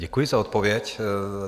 Děkuji za odpověď.